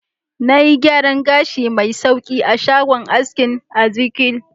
Na yi gyaran gashi mai sauƙi a shagon askinEzekiel.